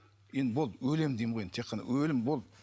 енді болды өлемін деймін ғой енді тек қана өлім болды